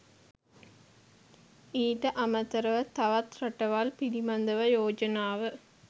ඊට අමතරව තවත් රටවල් පිළිබඳව යෝජනාව